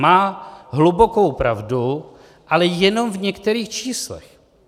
Má hlubokou pravdu, ale jenom v některých číslech.